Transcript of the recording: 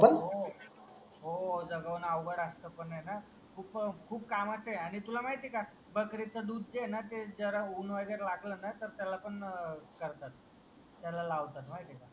हो जगवणं अवघड असतं. पण ये ना खूप खूप कामाचा आहे आणि तुला माहिती आहे का? बकरीच दूध जे आहे ना ते जरा उन वगैरे जर लागलं ना तर ते त्याला पण करतात ते त्याला लावतात माहिती आहे का?